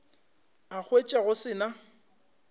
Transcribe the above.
a hwetša go se na